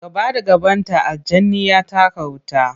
Gaba da gabanta, aljani ya taka wuta.